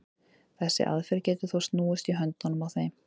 þessi aðferð getur þó snúist í höndunum á þeim